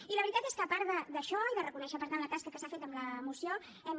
i la veritat és que a part d’això i de reconèixer per tant la tasca que s’ha fet amb la moció hem